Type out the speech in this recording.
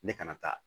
Ne kana taa